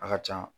A ka can